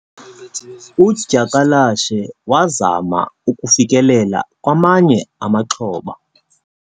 udyakalashe wazama ukufikelela kwamanye amaxhoba